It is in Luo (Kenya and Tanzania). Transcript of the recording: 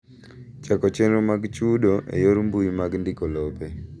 Chako chenro mag chudo e yor mbui mag ndiko lope.